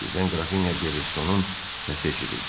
Birdən Qrafinya Derestonun səsi eşidildi.